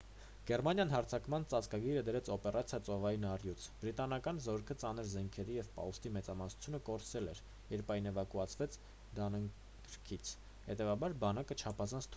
գերմանիան հարձակման ծածկագիրը դրեց օպերացիա ծովային առյուծ բրիտանական զորքը ծանր զենքերի և պահուստի մեծամասնությունը կորցրել էր երբ այն էվակուացվեց դանքըրքից հետևաբար բանակը չափազանց թույլ էր